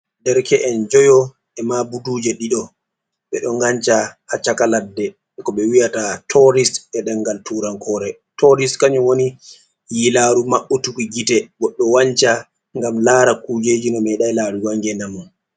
Derke'en njoyo e maa buduuje ɗiɗo ɓe ɗo nganca haa caka ladde e ko ɓe wi'ata tooris e demngal Tuurankoore, tooris kanjum woni yiilaaru maɓɓutuki gite goɗɗo wanca ngam laara kuujeeji o meeɗaay laarugo haa ngeenɗam mum.